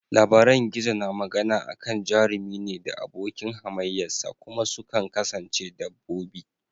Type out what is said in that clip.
Labaran gizo na magana akan jarumi ne da abokin hamayya sa, kuma sukan kasance dabbobi.